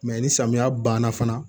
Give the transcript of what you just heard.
Mɛ ni samiya banna fana